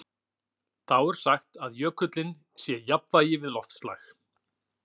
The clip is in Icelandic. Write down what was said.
Þá er sagt að jökullinn sé í jafnvægi við loftslag.